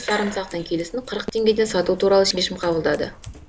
сарымсақтың келісін қырық теңгеден сату туралы шешім қабылдады